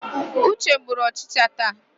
Uche gburu ọchịcha taa.